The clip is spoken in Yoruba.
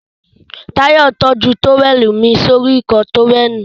Táyọ̀ tọ́jú tówẹ̀lì mí sí orí Ìkọ́ọ tówẹ́ẹ̀nù